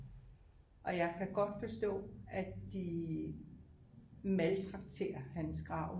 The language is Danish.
Og jeg kan godt forstå at de maltrakterer hans grav